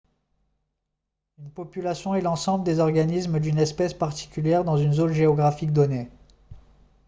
une population est l'ensemble des organismes d'une espèce particulière dans une zone géographique donnée